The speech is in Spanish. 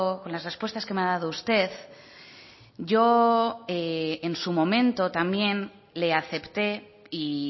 con las respuestas que me ha dado usted yo en su momento también le acepté y